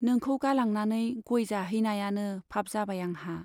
नोंखौ गालांनानै गय जाहैनायानो पाप जाबाय आंहा।